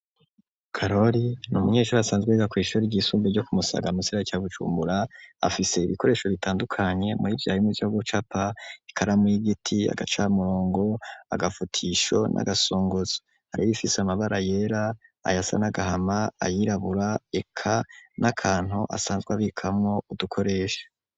karoli n' umunyeshuri asanzwe we gakwishure ry'isumbuye ryo kumusaga mugisagara ca BuJumbura. Afise ibikoresho bitandukanye murivyo harimo ryo gucapa ikaramu y'igiti agacamurongo agafutisho n'agasongozo. Hari bifise amabara yera ayasa nagahama ayirabura eka n'akantu asanzwe abikamo udukoresha.